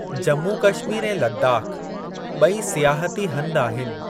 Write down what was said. जम्मू कश्मीर ऐं लद्दाख़ ॿई सियाहती हंध आहिनि।